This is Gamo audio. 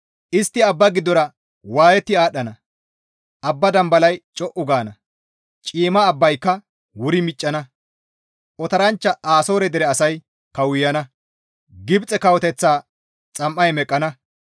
Istti abba giddora waayetti aadhdhana; abba dambalay co7u gaana; ciimma abbayka wuri miccana; otoranchcha Asoore dere asay kawuyana; Gibxe Kawoteththa xam7ay meqqana.